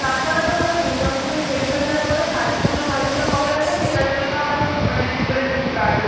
তারপরে তো মানে দুর্গাপূজার শেষ হয়ে যাওয়ার পরে কালীপুজো, ভাইফোঁটা কবে আসবে সেটার জন্য আবার মানে preparation start হয়